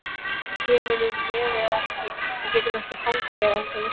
Kemurðu með eða ekki. við getum ekki hangið hér endalaust!